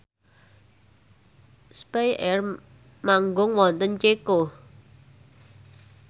spyair manggung wonten Ceko